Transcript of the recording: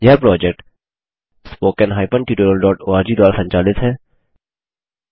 यह project httpspoken tutorialorg द्वारा संचालित है